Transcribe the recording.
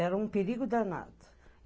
Era um perigo danado.